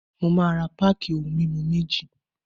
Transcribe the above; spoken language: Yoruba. Mo máa ra páàkì ohun mímu méjì.